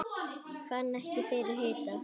Fann ekki fyrir hita